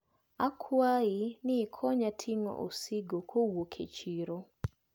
Akwayi ni ikonya ting`o osigo kowuok e chiro.